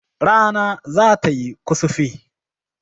Rana zata yi kusufi